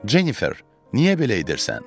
Jennifer, niyə belə edirsən?